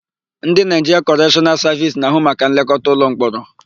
Ndị Naịjiria Kọreshọnal Savisi na-ahụ maka nlekọta ụlọmkpọrọ.